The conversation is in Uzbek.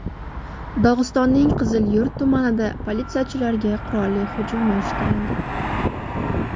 Dog‘istonning Qizilyurt tumanida politsiyachilarga qurolli hujum uyushtirildi.